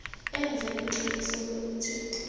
enze neqiniso lokuthi